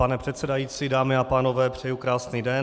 Pane předsedající, dámy a pánové, přeji krásný den.